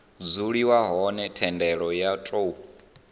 dzuliwa hone thendelo yo tou